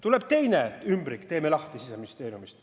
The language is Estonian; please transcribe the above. Tuleb teine ümbrik Siseministeeriumist.